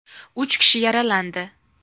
Uch kishi yaralandi.